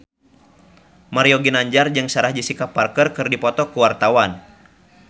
Mario Ginanjar jeung Sarah Jessica Parker keur dipoto ku wartawan